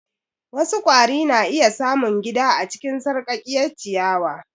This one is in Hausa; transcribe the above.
Wasu kwari na iya samun gida a cikin sarƙaƙƙiyar ciyawa.